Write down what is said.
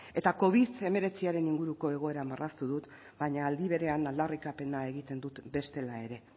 eta covid hemeretziaren inguruko egoera marraztu dut baina aldi berean aldarrikapen egiten dut bestela ere